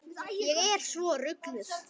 Ég er svo rugluð.